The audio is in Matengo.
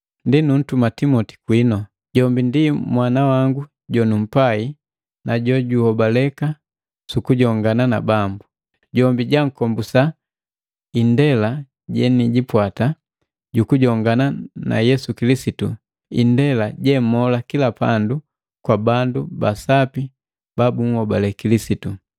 Ndi nutumiki Timoti kwinu. Jombi ndi mwana wangu jonumpai na jojuhobaleka sukujongana na Bambu. Jombi jaakombusa indela jenijipwata jukujongana na Yesu Kilisitu, indela jemolesa kila pandu kwa bandu ba sapi ba bunhobale Kilisitu.